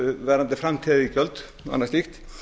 varðandi framtíðariðgjöld og annað slíkt